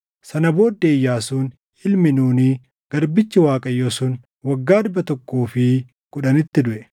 Sana booddee Iyyaasuun ilmi Nuuni, garbichi Waaqayyoo sun, waggaa dhibba tokkoo fi kudhanitti duʼe.